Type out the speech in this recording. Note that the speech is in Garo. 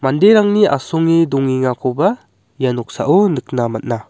manderangni asonge dongengakoba ia noksao nikna man·a.